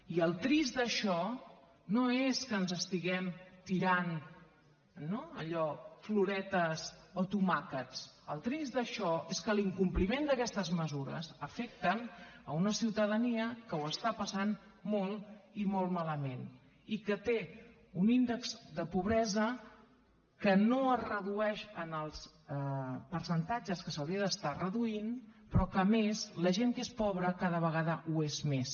i el trist d’això no és que ens estiguem tirant no allò floretes o tomàquets el trist d’això és que l’incompliment d’aquestes mesures afecta una ciutadania que ho està passant molt i molt malament i que té un índex de pobresa que no es redueix en els percentatges que s’hauria d’estar reduint però que a més la gent que és pobre cada vegada ho és més